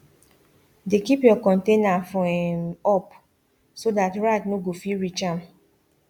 dey keep your container for um up so dat rat nor go fit reach am